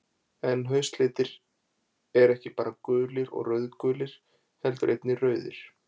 En haustlitir eru ekki bara gulir og rauðgulir, heldur einnig rauðir.